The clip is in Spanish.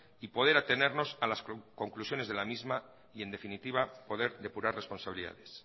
y poder atenernos a las conclusiones de la misma y en definitiva poder depurar responsabilidades